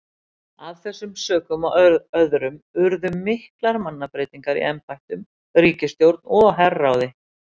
Af þessum sökum og öðrum urðu miklar mannabreytingar í embættum, ríkisstjórn og herráði.